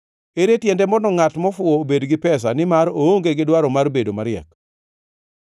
Ere tiende mondo ngʼat mofuwo obed gi pesa nimar oonge gi dwaro mar bedo mariek?